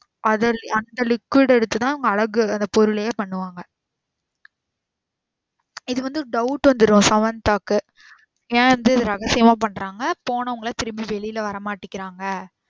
அது அந்த liquid எடுத்து தான் மரபு அந்த பொருளையே பண்ணுவாங்க. இது வந்து doubt வந்துரும் சமந்தாவுக்கு ஏன் வந்து ரகசியமா பண்றாங்க போனவங்கள திரும்பி வெளில வர மாட்டிகாங்க.